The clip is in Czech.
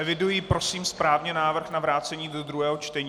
Eviduji, prosím, správně návrh na vrácení do druhého čtení?